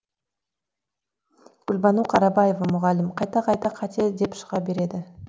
гүлбану қарабаева мұғалім қайта қайта қате деп шыға береді